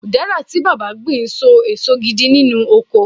udara ti baba gbin so eso gidi nínú ọkọ